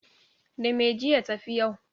Da me, jiya ta fi yau?